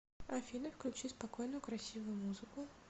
афина включи спокойную красивую музыку